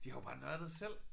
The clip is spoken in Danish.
De har jo bare nørdet selv